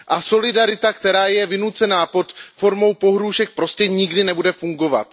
Solidarita, která je vynucená pod formou pohrůžek, prostě nikdy nebude fungovat.